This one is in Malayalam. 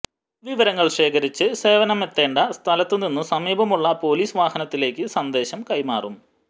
വിവരങ്ങൾ ശേഖരിച്ച് സേവനമെത്തേണ്ട സ്ഥലത്തിനു സമീപമുള്ള പൊലീസ് വാഹനത്തിലേക്ക് സന്ദേശം കൈമാറും